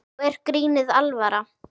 Nú er grínið alvara.